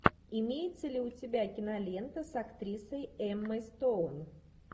имеется ли у тебя кинолента с актрисой эммой стоун